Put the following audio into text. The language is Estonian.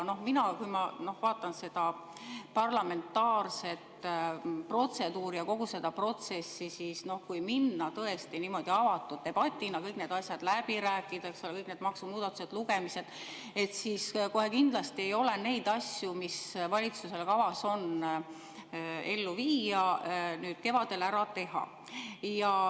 Kui ma vaatan seda parlamentaarset protseduuri ja kogu seda protsessi, siis kui minna tõesti niimoodi avatud debatina, kõik need asjad, kõik need maksumuudatused läbi rääkida, teha kõik lugemised, siis kohe kindlasti ei ole neid asju, mis valitsusel kavas on ellu viia, nüüd kevadel ära teha.